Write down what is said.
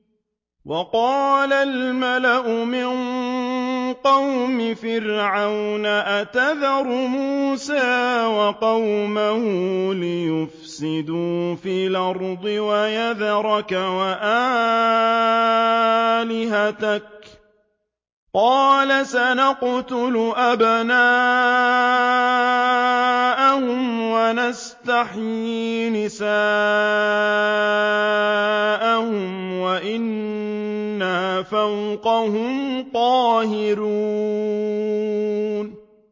وَقَالَ الْمَلَأُ مِن قَوْمِ فِرْعَوْنَ أَتَذَرُ مُوسَىٰ وَقَوْمَهُ لِيُفْسِدُوا فِي الْأَرْضِ وَيَذَرَكَ وَآلِهَتَكَ ۚ قَالَ سَنُقَتِّلُ أَبْنَاءَهُمْ وَنَسْتَحْيِي نِسَاءَهُمْ وَإِنَّا فَوْقَهُمْ قَاهِرُونَ